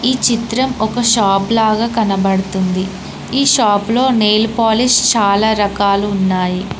ఈ చిత్రం ఒక షాప్ లాగా కనబడుతుంది ఈ షాప్ లో నెయిల్ పాలిష్ చాలా రకాలు ఉన్నాయి.